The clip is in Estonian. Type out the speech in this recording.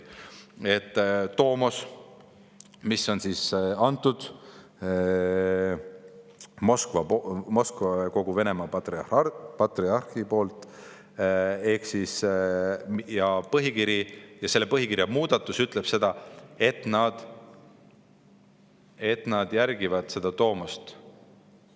Tomos, mille on välja andnud Moskva ja kogu Venemaa patriarh, ehk siis põhikiri ja selle muudatus ütleb, et nad järgivad seda tomost ...